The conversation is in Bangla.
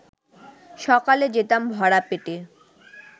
সকালে যেতাম ভরা পেটে